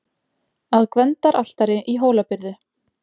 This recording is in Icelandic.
Að Gvendaraltari í Hólabyrðu.